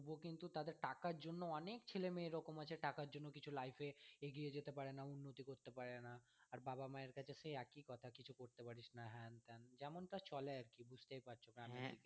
তবুও কিন্তু তাদের টাকার জন্য অনেক ছেলে মেয়ে আছে এরকম টাকার জন্য কিছু life এ এগিয়ে যেতে পারে না উন্নতি করতে পারে না আর বাবা-মায়ের কাছে সেই একই কথা কিছু করতে পারিস না হ্যান ত্যান যেমনটা চলে আর কি বুঝতেই পারছি গ্রামের দিকে